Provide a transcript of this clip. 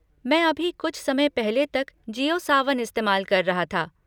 मैं अभी कुछ समय पहले तक जिओ सावन इस्तेमाल कर रहा था।